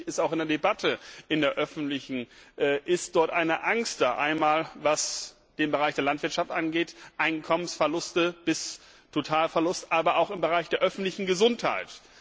Natürlich ist auch in der öffentlichen Debatte eine Angst da, einmal, was den Bereich der Landwirtschaft angeht Einkommensverluste bis Totalverlust aber auch im Bereich der öffentlichen Gesundheit.